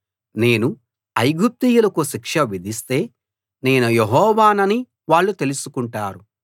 నేను ఐగుప్తీయులకు శిక్ష విధిస్తే నేను యెహోవానని వాళ్ళు తెలుసుకుంటారు